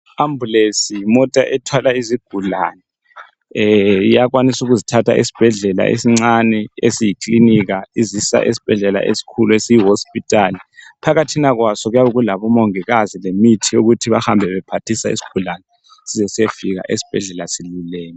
ambulence yimota ethwala izigulani eeh iyakwanisa ukuzithatha esibhedlela esincane esiyi klinika izisa esibhedlela esikhulu esiyi hospital phakathina kwaso kuyabe kulabo mongikazi lemithi yokuthi bahambe bephathisa isigulane size siyefika esibhedlela siluleme